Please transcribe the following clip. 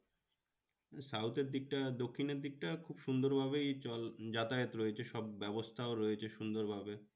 আহ south এর দিকটা দক্ষিণের দিকটা খুব সুন্দর ভাবেই যাতায়াত রয়েছে সব ব্যবস্থাও রয়েছে সুন্দর ভাবে।